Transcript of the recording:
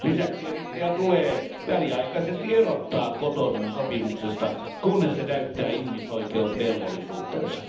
Lisäksi Eritrea tulee väliaikaisesti erottaa Cotonoun sopimuksesta, kunnes se täyttää ihmisoikeusvelvollisuutensa.